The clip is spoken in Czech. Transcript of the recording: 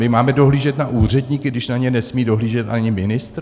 My máme dohlížet na úředníky, když na ně nesmí dohlížet ani ministr?